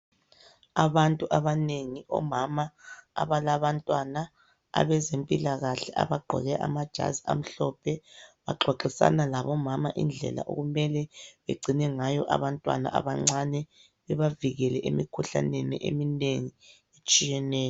Abantu abanengi omama abalabantwana, abezempilakahle abagqoke amajazi amhlophe, baxoxisana labomama indlela okumele begcine ngayo abantwana abancane bebavikele emikhuhlaneni eminengi etshiyeneyo.